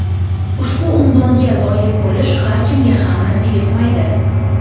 Ushbu unvonga loyiq bo‘lish har kimga ham nasib etmaydi.